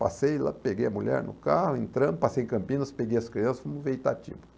Passei lá, peguei a mulher no carro, entrando, passei em Campinas, peguei as crianças, fomos ver Itatiba.